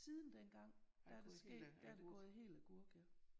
Siden dengang der er der sket der er det gået helt agurk